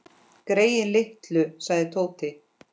Greyin litlu sagði Tóti.